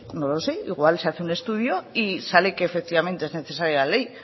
no sé no lo sé igual se hace un estudio y sale que efectivamente es necesaria la ley